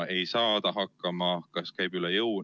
Ta ei saa ta hakkama, talle käib see üle jõu.